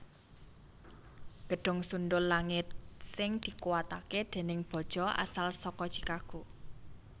Gedhung sundhul langit sing dikuwataké déning baja asal saka Chicago